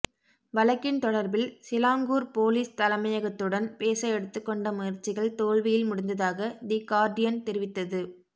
வழக்கின் தொடர்பில் Selangor police தலைமையகத்துடன் பேச எடுத்துக்கொண்ட முயற்சிகள் தோல்வியில் முடிந்ததாக தி கார்டியன் தெரிவித்தது